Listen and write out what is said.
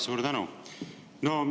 Suur tänu!